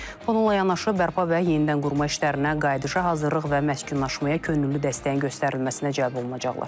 Bununla yanaşı bərpa və yenidən qurma işlərinə, qayıdışa hazırlıq və məskunlaşmaya könüllü dəstəyin göstərilməsinə cəlb olunacaqlar.